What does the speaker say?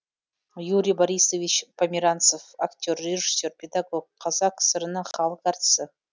юрий борисович померанцев актер режиссер педагог қазақ кср інің халық артисі